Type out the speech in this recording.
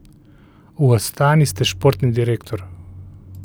V Astani ste športni direktor.